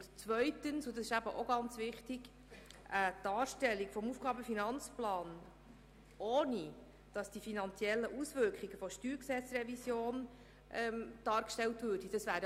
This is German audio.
Zweitens wäre es absolut intransparent, die finanziellen Auswirkungen der StG-Revision nicht im AFP abzubilden.